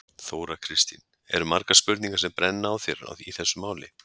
Þóra Kristín: Eru margar spurningar sem brenna á þér í þessu máli?